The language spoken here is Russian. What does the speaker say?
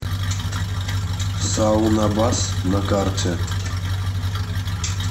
саунабас на карте